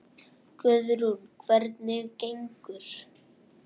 Guðrún: Hvernig gengur?